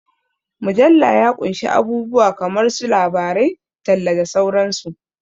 Mujalla ya ƙunshi abubuwa kamar su labarai, talla, da sauran su.